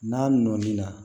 N'a nɔɔni na